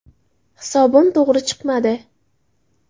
Hisobim to‘g‘ri chiqmadi”.